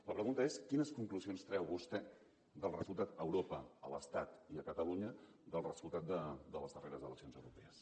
la pregunta és quines conclusions treu vostè dels resultats a europa a l’estat i a catalunya dels resultats de les darreres eleccions europees